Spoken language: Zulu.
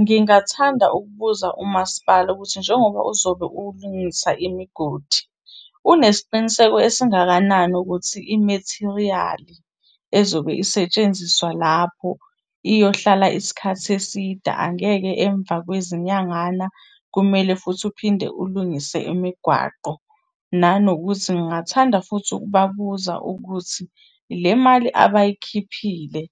Ngingathanda ukubuza umasipala ukuthi njengoba uzobe ulungisa imigodi, unesiqiniseko esingakanani ukuthi imethiriyali ezobe isetshenziswa lapho iyohlala isikhathi eside, angeke emva kwezinyangana kumele futhi uphinde ulungise imigwaqo? Nanokuthi, ngingathanda futhi ukubabuza ukuthi le mali abayikhiphile